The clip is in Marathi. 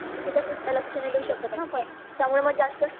लक्ष नाही देऊशकत न आपण त्यामुळे मग जास्त